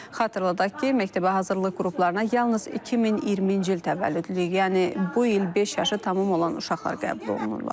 Xatırladaq ki, məktəbə hazırlıq qruplarına yalnız 2020-ci il təvəllüdlü, yəni bu il beş yaşı tamam olan uşaqlar qəbul olunurlar.